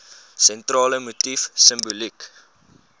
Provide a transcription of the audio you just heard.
sentrale motief simboliek